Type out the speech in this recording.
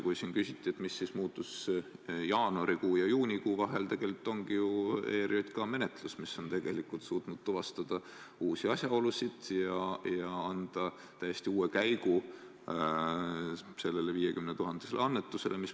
Kui siin küsiti, mis muutus jaanuarikuu ja juunikuu vahel, siis tegelikult ongi ju ERJK menetlus, mis on suutnud tuvastada uusi asjaolusid, andnud täiesti uue käigu sellele 50 000 annetusele.